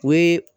O ye